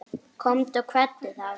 Komdu og kveddu þá.